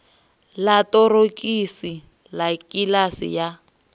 ḽa ṱorokisi ḽa kiḽasi ya